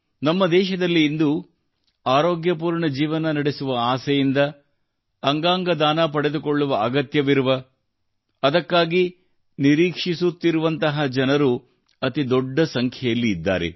ನಮ್ಮ ದೇಶದಲ್ಲಿ ಇಂದು ಆರೋಗ್ಯಪೂರ್ಣ ಜೀವನ ನಡೆಸುವ ಆಸೆಯಿಂದ ಅಂಗಾಂಗ ದಾನ ಪಡೆದುಕೊಳ್ಳುವ ಅಗತ್ಯವಿರುವ ಅದಕ್ಕಾಗಿ ನಿರೀಕ್ಷಿಸುತ್ತಿರುವಂತಹ ಜನರು ಅತಿ ದೊಡ್ಡ ಸಂಖ್ಯೆಯಲ್ಲಿ ಇದ್ದಾರೆ